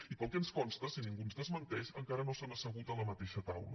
i pel que ens consta si ningú ens desmenteix encara no s’han assegut a la mateixa taula